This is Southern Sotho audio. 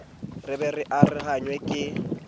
re be re arohanngwa ke